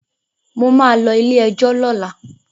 Mo ma lọ ilé-ẹjọ̀ lọ́la